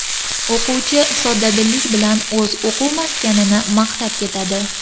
O‘quvchi soddadillik bilan o‘z o‘quv maskanini maqtab ketadi.